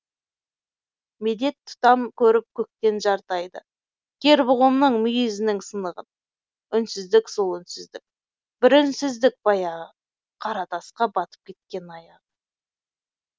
медет тұтам көріп көктен жарты айды кер бұғымның мұйізінің сынығын үнсіздік сол үнсіздік бір үнсіздік баяғы қара тасқа батып кеткен аяғы